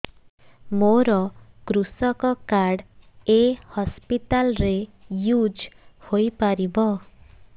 ମୋର କୃଷକ କାର୍ଡ ଏ ହସପିଟାଲ ରେ ୟୁଜ଼ ହୋଇପାରିବ